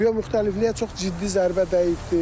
Biomüxtəlifliyə çox ciddi zərbə dəyibdir.